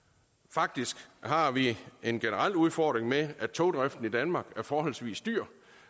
faktisk har vi en generel udfordring med at togdriften i danmark er forholdsvis dyr